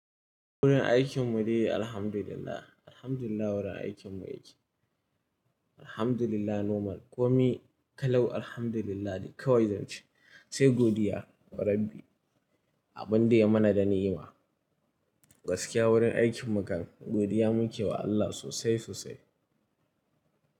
Wurin aikin mu dai Alhamdulillah. Alhamdulillah wurin aikin mu yake. Alhamdulillah normal. Komi kalau Alhamdulillah kawai zan ce. Sai godiya ma Rabbi. Abin da ya mana da ni'ima. Gaskiya wurin aikin mu kan godiya muke wa Allah sosai sosai.